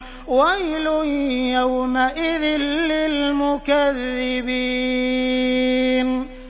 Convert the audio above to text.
وَيْلٌ يَوْمَئِذٍ لِّلْمُكَذِّبِينَ